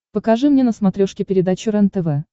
покажи мне на смотрешке передачу рентв